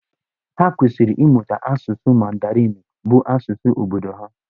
Ha kwesịrị ịmụta asụsụ Mandarinụ bụ́ asụsụ obodo ha.